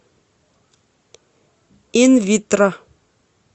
инвитро